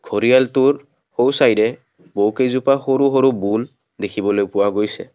ঘৰিয়ালটোৰ সোঁ চাইদে বহু কেইজোপা সৰু সৰু বুন দেখিবলৈ পোৱা গৈছে।